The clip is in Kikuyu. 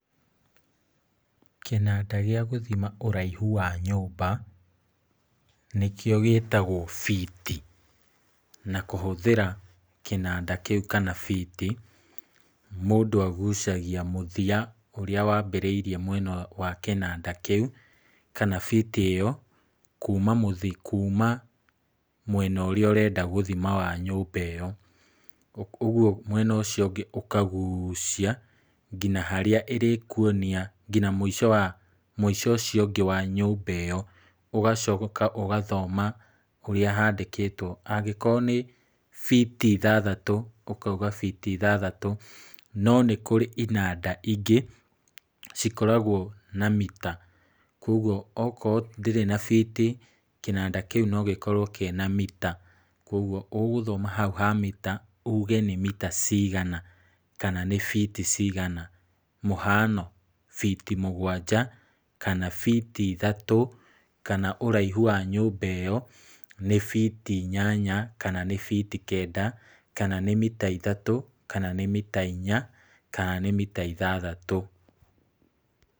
Kĩnanda gĩa gũthima ũraihu wa nyũmba nĩkĩo gĩtagwo biti. Na kũhũthĩra kĩnanda kĩu kana biti mũndũ agucagia mũthia ũrĩa wambĩrĩirie mwena wa kĩnanda kĩu kana biti ĩyo kuuma mwena ũrĩa ũrenda gũthima wa nyũmba ĩyo. Ũguo mwena ũcio ũngĩ ũkagucia nginya harĩa ĩrĩkuonia nginya mũico ũcio ũngĩ wa nyũmba ĩyo. Ũgacoka ũgathoma ũrĩa handĩkĩtwo, okorwo nĩ biti ithathatũ ũkoiga biti ithathatũ. No nĩ kũrĩ inanda ingĩ cikoragwo na mita, kwoguo okorwo ndĩrĩ na biti kĩnanda kĩu no gĩkorwo kĩna na mita. Kwoguo ũgũthoma hau ha mita ũge nĩ mita cigana kana ni biti cigana. Mũhanon; biti mũgwanja kana biti ithatũ, kana ũraihu wa nyũmba ĩyo nĩ biti inyanya kana nĩ biti kenda, kana nĩ mita ithatũ kana nĩ mita inya kana nĩ mita ithathatũ.